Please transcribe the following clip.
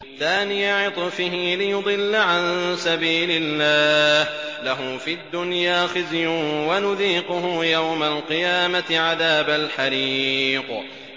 ثَانِيَ عِطْفِهِ لِيُضِلَّ عَن سَبِيلِ اللَّهِ ۖ لَهُ فِي الدُّنْيَا خِزْيٌ ۖ وَنُذِيقُهُ يَوْمَ الْقِيَامَةِ عَذَابَ الْحَرِيقِ